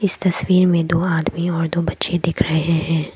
इस तस्वीर में दो आदमी और दो बच्चे दिख रहे हैं।